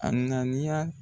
A ŋaniya